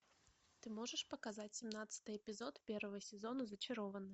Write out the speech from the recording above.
ты можешь показать семнадцатый эпизод первого сезона зачарованные